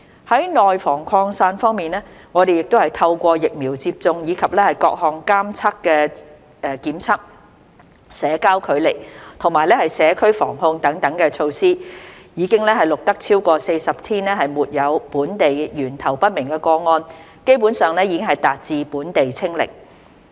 在內防擴散方面，我們亦透過疫苗接種，以及各項監測檢測、社交距離和社區防控等措施，已經錄得超過40天沒有本地源頭不明個案，基本上已達致本地"清零"。